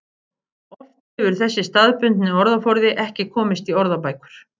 Oft hefur þessi staðbundni orðaforði ekki komist í orðabækur.